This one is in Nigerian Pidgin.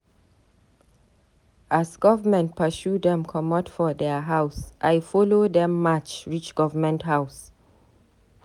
As government pursue dem comot for their house, I follow dem match reach government house.